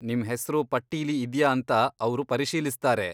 ನಿಮ್ಹೆಸ್ರು ಪಟ್ಟೀಲಿ ಇದ್ಯಾ ಅಂತ ಅವ್ರು ಪರಿಶೀಲಿಸ್ತಾರೆ.